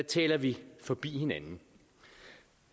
taler vi forbi hinanden